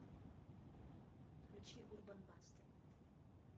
включи урбан басты